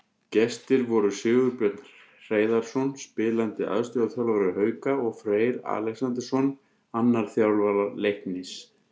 Gestir voru Sigurbjörn Hreiðarsson, spilandi aðstoðarþjálfari Hauka, og Freyr Alexandersson, annar þjálfara Leiknis.